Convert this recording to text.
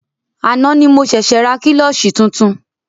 Àná ni mo ṣẹ̀ṣė ra klọ́ṣí tuntun.